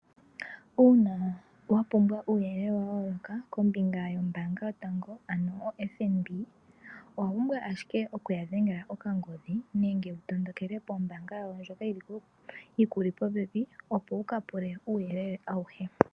Uuna wa pumbwa uuyelele wuuka kombinga yombaanga yotango ano FNB . Owapumbwa ashike okuya dhengela oka kongodhi nenge wutondokele po mbaanga yawo ndjoka yi kuli popepi opo wuka pule uuyelele awuhe.